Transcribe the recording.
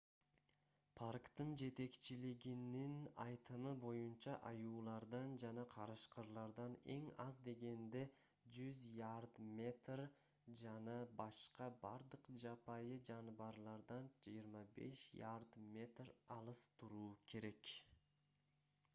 парктын жетекчилигинин айтымы боюнча аюулардан жана карышкырлардан эң аз дегенде 100 ярд/метр жана башка бардык жапайы жаныбарлардан 25 ярд/метр алыс туруу керек